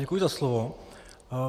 Děkuji za slovo.